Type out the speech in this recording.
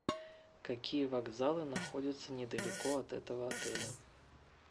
какие вокзалы находятся недалеко от этого отеля